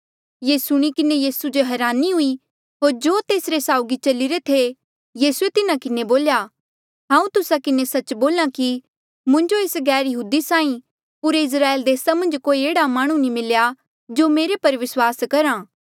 ये सुणी किन्हें यीसू जो हरानी हुई होर जो तेसरे साउगी चलिरे थे यीसूए तिन्हा किन्हें बोल्या हांऊँ तुस्सा किन्हें सच्च बोल्हा कि मुंजो एस गैरयहूदी साहीं पूरे इस्राएल देसा मन्झ कोई एह्ड़ा माह्णुं नी मिल्या जो मेरे पर विस्वास करा